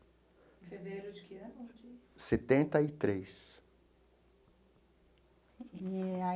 Em fevereiro de que ano? Setenta e três.